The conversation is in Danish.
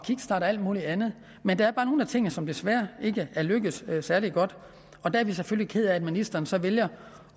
alt muligt andet men der er bare nogle af tingene som desværre ikke er lykkedes særlig godt og der er vi selvfølgelig kede af at ministeren så vælger